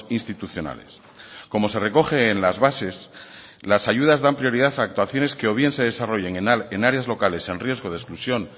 institucionales como se recoge en las bases las ayudas dan prioridad a actuaciones que o bien se desarrollen en áreas locales en riesgo de exclusión